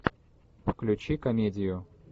включи комедию